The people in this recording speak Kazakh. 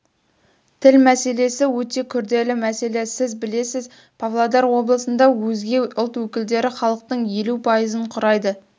тіл мәселесі өте күрделі мәселе сіз білесіз павлодар облысында өзге ұлт өкілдері халықтың елу пайызын құрайды